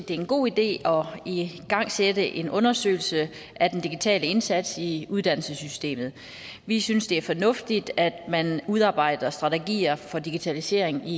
det er en god idé at igangsætte en undersøgelse af den digitale indsats i uddannelsessystemet vi synes det er fornuftigt at man udarbejder strategier for digitalisering i